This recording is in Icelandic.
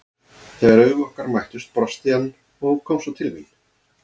Þegar augu okkar mættust brosti hann og kom svo til mín.